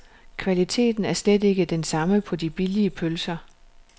Kvaliteten er slet ikke den samme på de billige pølser.